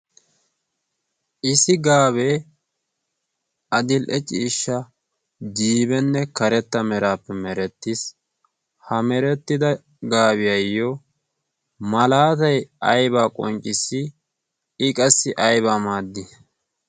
issi gaabee adil''e ciishsha jiibenne karetta meraappe merettiis ha merettida gaabiyaayyo malaatai aybaa qonccissi i qassi aybaa maaddi